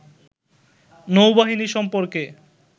নৌবাহিনী সম্পর্কে